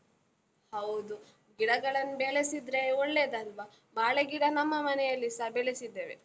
ಹೌದು, ಗಿಡಗಳನ್ನು ಬೆಳೆಸಿದ್ರೆ ಒಳ್ಳೆದಲ್ವ? ಬಾಳೆಗಿಡ ನಮ್ಮ ಮನೆಯಲ್ಲಿಸ ಬೆಳೆಸಿದ್ದೇವೆ.